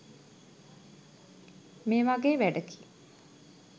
මේ වගේ වැඩකි.